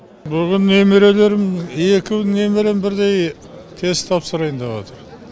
бүгін немерелерім екеу немерем бірдей тест тапсырайын деп отыр